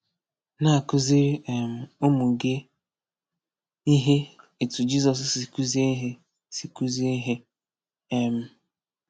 Na-akụziri um ụmụ gị ihe etu Jizọs si kụzie ihe. si kụzie ihe. um